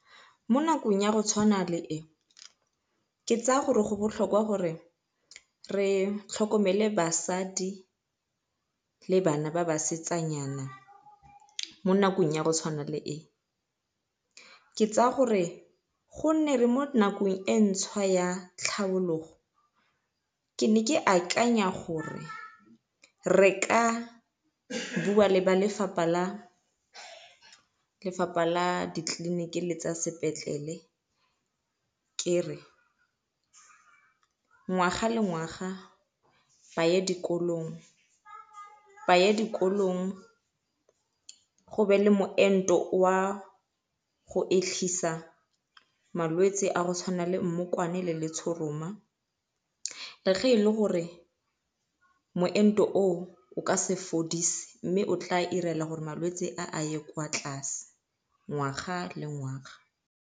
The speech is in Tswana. Mo nakong ya go tshwana le e ke tsaya gore go botlhokwa gore re tlhokomele basadi le bana ba basetsanyana mo nakong ya go tshwana le e. Ke tsaya gore gonne re mo nakong e ntšhwa ya tlhabologo ke ne ke akanya gore re ka bua le ba lefapha la lefapha la ditleliniki le tsa sepetlele ke re ngwaga le ngwaga ba ye dikolong ba ye dikolong go be le moento wa go malwetse a go tshwana le mmokwane le letshoroma. Le ge e le gore moento o o ka se fodise mme o tla dira gore malwetse a a ye kwa tlase ngwaga le ngwaga.